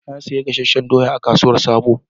Na sayi gasasshen doyan a kasuwan sabo